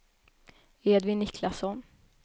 Edvin Niklasson